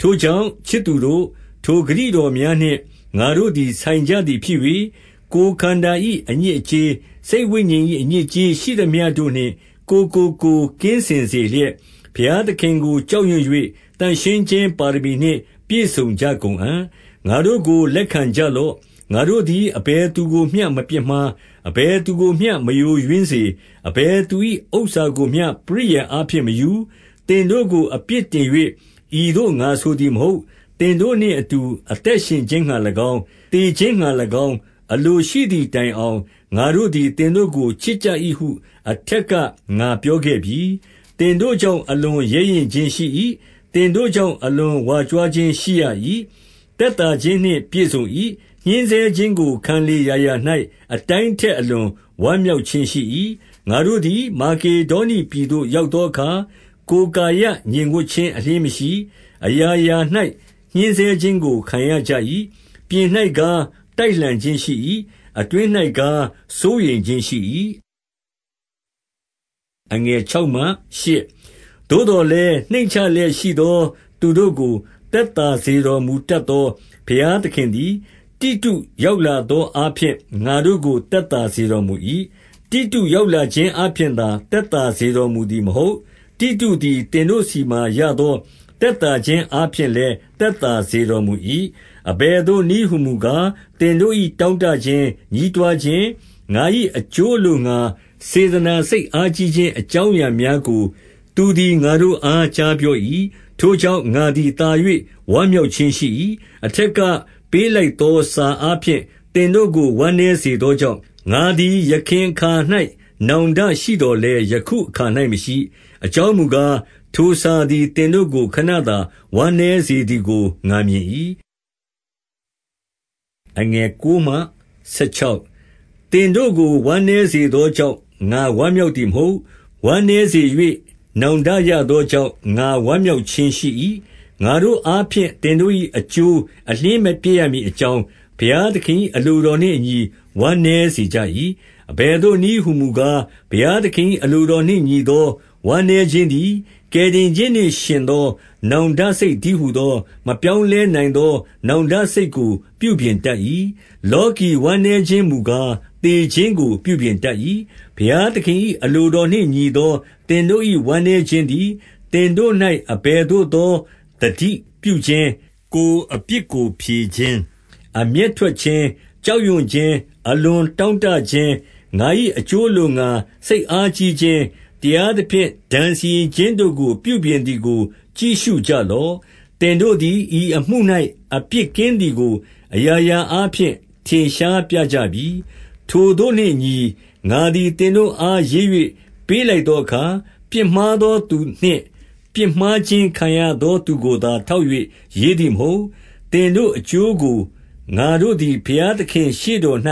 ထိုကြောင့်ချစ်သူတို့၊ ထိုဂတိတော်များနှင့် ငါတို့သည်ဆိုင်ကြသည်ဖြစ်၍၊ ကိုယ်ခန္ဓာ၏ အညစ်အကြေး၊ စိတ်ဝိညာဉ်၏အညစ်အကြေးရှိသမျှတို့နှင့် ကိုယ်ကိုကိုယ်ကင်းစင်စေလျက်၊ ဘုရားသခင်ကို ကြောက်ရွံ့၍ သန့်ရှင်းခြင်းပါရမီနှင့် ပြည့်စုံကြကုန်အံ့။ ငါတို့ကိုလက်ခံကြလော့။ ငါတို့သည် အဘယ်သူကိုမျှမပြစ်မှား။ အဘယသူကိုမျှမယိုယွင်းစေ၊ အဘယ်သူ၏ဥစ္စာကိုမျှ ပရိယာယ်အားဖြင့် မယူ။ သင်တို့ကိုအပြစ်တင်၍ ဤသို့ငါဆိုသည်မဟုတ်။ သင်တို့နှင့် အတူအသက်ရှင်ခြင်းငှါ၎င်း၊ သေခြင်းငှါ၎င်း၊ အလိုရှိသည်တိုင်အောင်၊ ငါတို့သည် သင်တို့ကိုချစ်ကြ၏ဟု အထက်ကငါပြောခဲ့ပြီ။ သင်တို့ကြောင့် အလွန်ရဲရင့်ခြင်းရှိ၏။ သင်တို့ကြောင့် အလွန်ကြွားဝါခြင်းရှိရ၏။ သက်သာခြင်းနှင့် ပြည့်စုံ၏။ ညှင်းဆဲခြင်းကို ခံလေရာရာ၌ အတိုင်းထက် အလွန်ဝမ်းမြောက်ခြင်းရှိ၏။ ငါတို့သည် မာကေဒေါနိပြည်သို့ ရောက်သောအခါ၊ ကိုယ်ကာယငြိမ်ဝပ်ခြင်း အလျှင်းမရှိ၊ အရာရာ၌ ညှဉ်းဆဲခြင်းကို ခံကြရ၏။ ပြင်၌ကား တိုက်လှန်ခြင်းရှိ၏။ အတွင်း၌ကားစိုးရိမ်ခြင်းရှိ၏။ သို့သော်လည်း နှိမ့်ကျလျက်ရှိသော သူတို့ကို သက်သာစေတော်မူတတ်သော ဘုရားသခင်သည်၊ တိတု ရောက်လာသောအားဖြင့် ငါတို့ကို သက်သာစေတော်မူ၏။ တိတုရောက်လာခြင်းအားဖြင့်သာ သက်သာစေတော်မူသည်မဟုတ်။ တိတုသည် သင်တို့ဆီမှရသော သက်သာခြင်းအားဖြင့်လည်း သက်သာစေတော်မူ၏။ အဘယ်သို့နည်းဟူမူကား၊ သင်တို့၏တောင့်တခြင်း၊ ညည်းတွားခြင်း၊ ငါ၏အကျိုးအလို့ငှါ စေတနာစိတ်အားကြီးခြင်း အကြောင်းအရာများကို သူသည်ငါတို့အား ကြားပြော၏။ ထိုကြောင့် ငါသည်သာ၍ ဝမ်မြောက်ခြင်းရှိ၏။ အထက်ကပေးလိုက်သော စာအားဖြင့် သင်တို့ကို ဝမ်းနည်းစေသောကြောင့်၊ ငါသည်ယခင်အခါ၌ နောင်တရှိသော်လည်း ယခုအခါ၌ မရှိ။ အကြောင်းမူကား၊ ထိုစာသည်သင်တို့ကို ခဏသာဝမ်းနည်းစေသည် ကို ငါမြင်၏။ သင်တို့ဝမ်းနည်းစေသောကြောင့် ငါဝမ်းမြောက်သည်မဟုတ်။ ဝမ်နည်းစေ၍ နောင်တရသောကြောင့် ငါဝမ်းမြောက်ခြင်းရှိ၏။ ငါတို့အားဖြင့် သင်တို့၏ အကျိုးအလျှင်းမပျက်ရမည်အကြောင်း၊ ဘုရားသခင်၏ အလိုတော်နှင့်အညီ ဝမ်းနည်းစေကြ၏။ အဘယ်သို့နည်းဟူမူကား၊ ဘုရားသခင်၏ အလိုတော်နှင့်ညီသော ဝမ်းနည်းခြင်းသည် ကယ်တင် ခြင်းနှင့်ယှဉ်သောနောင်တစိတ် တည်းဟူသော၊ မပြောင်းလဲနိုင်သောနောင်တစိတ်ကို ပြုပြင်တတ်၏။ လောကီ ဝမ်းနည်းခြင်းမူကား၊ သေခြင်းကိုပြုပြင်တတ်၏။ ဘုရားသခင်၏အလိုတော်နှင့်ညီသော သင်တို့၏ ဝမ်းနည်းခြင်းသည် သင်တို့၌ အဘယ်သို့သော သတိပြုခြင်း၊ ကိုယ်အပြစ်ကိုဖြေခြင်း၊ အမျက်ထွက်ခြင်း၊ ကြောက်ရွံ့ခြင်း၊ အလွန်တောင့်တခြင်း၊ ငါ၏အကျိုး အလို့ငှါ စိတ်အားကြီးခြင်း၊ တရားသဖြင့် ဒဏ်စီရင်ခြင်းတို့ကို ပြုပြင်သည်ကို ကြည့်ရှုကြလော။ သင်တို့သည် ဤအမှု၌ အပြစ်ကင်းသည်ကို အရာရာအားဖြင့် ထင်ရှားပြကြပြီ။ ထိုသို့နှင့်အညီ၊ ငါသည်သင်တို့အား ရေး၍ပေးလိုက်သောအခါ၊ ပြစ်မှားသောသူနှင့် ပြစ်မှားခြင်း ခံရသောသူကိုသာ ထောက်၍ ရေးသည်မဟုတ်။ သင်တို့အကျိုးကိုငါတို့သည် ဘုရားသခင်ရှေ့တော်၌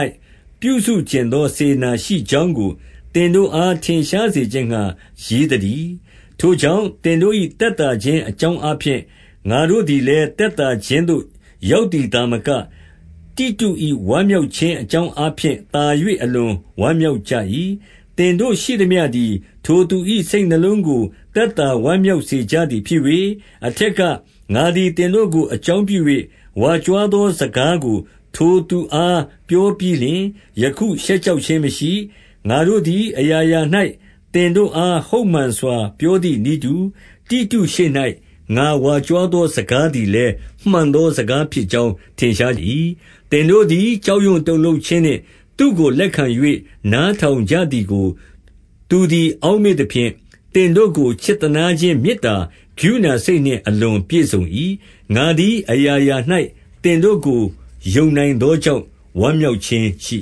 ပြုစု ချင်သောစေတနာစိတ်ရှိကြောင်းကို သင်တို့အား ထင်ရှားစေခြင်းငှါ ရေးသတည်း။ ထိုကြောင့်သင်တို့၏ သက်သာခြင်း အကြောင်း အားဖြင့်၊ ငါတို့သည်လည်း သက်သာခြင်း သို့ရောက်သည် သာမက၊ တိတု၏ဝမ်းမြောက်ခြင်းအကြောင်းအားဖြင့် သာ၍အလွန်ဝမ်းမြောက်ကြ၏။ သင်တို့ရှိသမျှသည် ထိုသူ၏စိတ်နှလုံးကို သက်သာဝမ်းမြောက်စေကြသည် ဖြစ်၍၊ အထက်ကငါသည် သင်တို့ကိုအကြောင်းပြု၍ ဝါကြွားသော စကားကိုထိုသူအားပြောပြီးလျှင်၊ ယခု ရှက်ကြောက်ခြင်းမရှိ။ ငါတို့သည် အရာရာ၌ သင်တို့အား ဟုတ်မှန်စွာပြောသည်နည်းတူ၊ တိတုရှေ့၌ ငါ ဝါကြွားသောစကားသည်လည်း မှန်သောစကားဖြစ်ကြောင်း ထင်ရှား၏။ သင်တို့သည် ကြောက်ရွံ့တုန်လှုပ်ခြင်းနှင့် သူတို့ လက်ခံ၍နားထောင် ကြသည်ကို သူသည် အောက်မေ့သဖြင့်၊ သင်တို့ကို ချစ်သနားခြင်း မေတ္တာကရုဏာစိတ်နှင့် အလွန်ပြည့်စုံ၏။ ငါသည်အရာရာ၌ သင်တို့ကို ယုံနိုင်သောကြောင့် ဝမ်းမြောက်ခြင်းရှိ